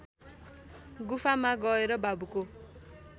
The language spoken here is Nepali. गुफामा गएर बाबुको